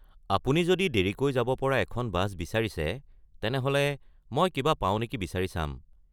আপুনি যদি দেৰিকৈ যাব পৰা এখন বাছ বিচাৰিছে, তেনেহ'লে মই কিবা পাও নেকি বিচাৰি চাম।